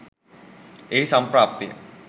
එහි සම්ප්‍රාප්තිය